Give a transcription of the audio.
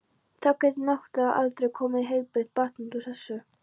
Þá getur náttúrlega aldrei komið heilbrigt barn út úr þessu.